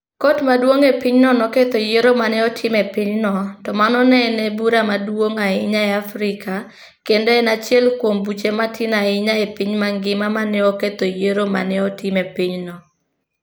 Kot Maduong' e pinyno noketho yiero ma ne otim e pinyno, to mano ne en bura maduong' ahinya e Afrika kendo en achiel kuom buche matin ahinya e piny mangima ma ne oketho yiero ma ne otim e pinyno.